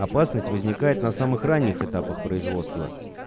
опасность возникает на самых ранних этапах производства